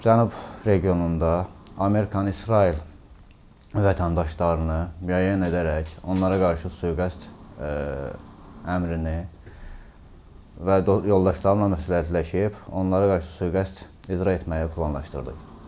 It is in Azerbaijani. Cənab regionunda Amerikan İsrail vətəndaşlarını müəyyən edərək onlara qarşı sui-qəsd əmrini və yoldaşlarımla məsləhətləşib onlara qarşı sui-qəsd icra etməyi planlaşdırdıq.